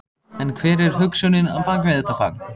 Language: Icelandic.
En hver er hugsunin á bak við þetta fagn?